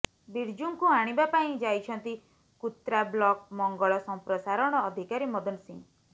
ବିର୍ଜୁଙ୍କୁ ଆଣିବା ପାଇଁ ଯାଇଛନ୍ତି କୁତ୍ରା ବ୍ଲକ ମଙ୍ଗଳ ସମ୍ପ୍ରସାରଣ ଅଧିକାରୀ ମଦନ ସିଂ